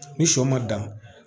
Ni sɔ ma dan